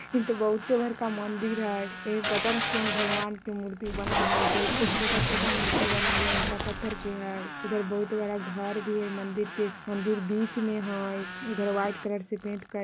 इह तो बहुते ही बड़का मंदिर हय एह पता नाय कोन भगवान के मूर्ति बनाएल है बहुते छोटा-छोटा मूर्ति बनाएल है ईटा-पत्थर के हय इधर बहुत बड़ा घर भी है मंदिर के मंदिर बीच में हय इधर वाइट कलर से पेंट कय --